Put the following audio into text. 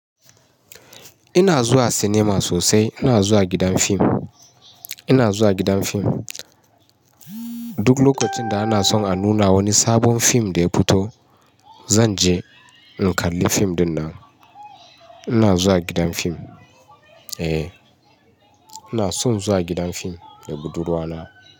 Ina zuwa cinema sosai. Ina zuwa gidan fim. Ina zuwa gidan fim. Duk lokacin da ana son a nuna wani sabon fim da ya fito, zan je in kalli fim dinnan. Ina zuwa gidan fim. Eh, ina son zuwa gidan fim da budurwa na.